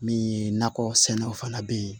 Min ye nakɔ sɛnɛw fana be yen